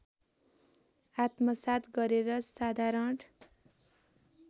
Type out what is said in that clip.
आत्मसात् गरेर साधारण